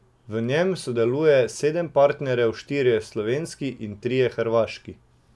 V njem sodeluje sedem partnerjev, štirje slovenski in trije hrvaški.